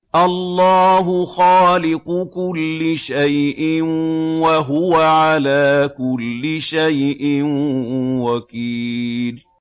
اللَّهُ خَالِقُ كُلِّ شَيْءٍ ۖ وَهُوَ عَلَىٰ كُلِّ شَيْءٍ وَكِيلٌ